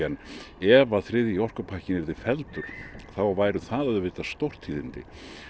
ef að þriðji orkupakkinn yrði felldur þá væru það auðvitað stórtíðindi